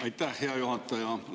Aitäh, hea juhataja!